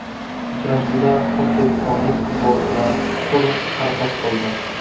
Uchrashuvda o‘zbekistonlik futbolchilar to‘liq harakat qildi.